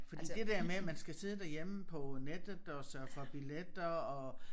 Fordi det der med man skal sidde derhjemme på nettet og sørge for billetter og